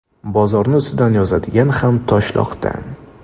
Bozorni ustidan yozadigan ham Toshloqdan.